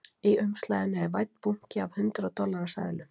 Í umslaginu er vænn bunki af hundrað dollara seðlum